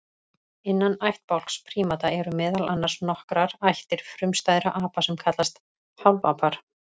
Innan ættbálks prímata eru meðal annars nokkrar ættir frumstæðra apa sem kallast hálfapar.